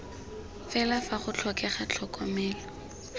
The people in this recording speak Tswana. fela fa go tlhokega tlhokomelo